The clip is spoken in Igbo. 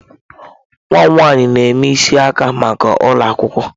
Nwa m nwanyị na-eme isi aka maka ụlọ akwụkwọ.